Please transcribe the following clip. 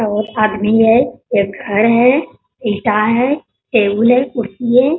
बहुत आदमी है | एक घर है ईटा है टेबुल है कुर्सी है |